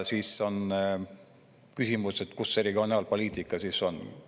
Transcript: Siis on küsimus, et kus see regionaalpoliitika siis on.